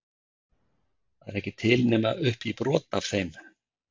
Það er ekki til nema upp í brot af þeim?